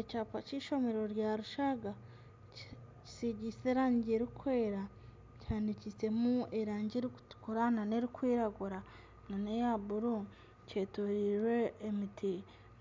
Ekyapa ky'eishomero rya Rushaga kisigiise erangi erikwera kihandikisiimu erangi erikutura nana erikwiragura nana eya buru kyetoriirwe emiti